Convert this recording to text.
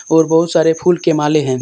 और बहुत सारे फूल के माले हैं।